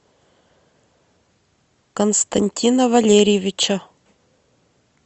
константина валериевича